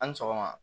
A ni sɔgɔma